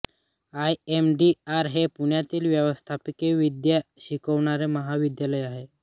I M D R हे पुण्यातील व्यवस्थापनविद्या शिकवणारे महाविद्यालय आहे